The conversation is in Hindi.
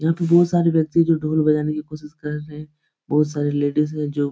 यहाँ पर बोहोत सारे व्यक्ति हैं जो ढोल बजाने की कोशिश कर रहे हैं। बोहोत सारे लेडीस हैं जो--